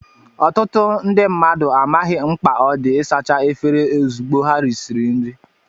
Ọtụtụ ndị mmadụ amaghị mkpa ọ dị ịsacha efere ozugbo ha risiri nri